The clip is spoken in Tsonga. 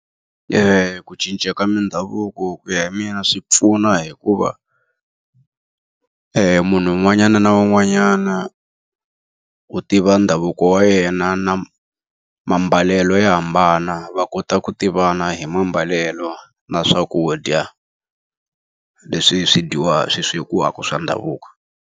Ku cinca ka mindhavuko ku ya hi mina swi pfuna hikuva, munhu un'wanyana na un'wanyana u tiva ndhavuko wa yena yena na mambalelo ya hambana. Va kota ku tivana hi mambalelo na swakudya leswi swi swi swekiwaka swa ndhavuko.